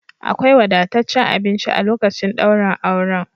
Akwai wadataccen abinci a lokacin daurin auren.